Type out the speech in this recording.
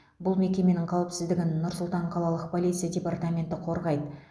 бұл мекеменің қауіпсіздігін нұр сұлтан қалалық полиция департаменті қорғайды